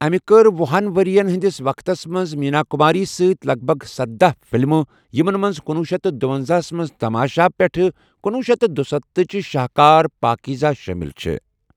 أمہِ کَرِ وُہِن ؤرِین ہِنٛدِس وقتَس منٛز میٖنا کُماری سۭتۍ لگ بگ سداہَ فِلمہٕ یِمن منٛز کنوہ شیتھ تہٕ دُونزاہ ہس منٛز تَماشا پیٚٹھٕہ کنۄہ شیتھ تہٕ دُستتھَ تٕچہِ شاہكار پاکیٖزاہ شٲمِل چھےٚ۔